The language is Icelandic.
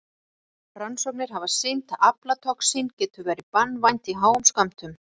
Rannsóknir hafa sýnt að aflatoxín getur verið banvænt í háum skömmtum.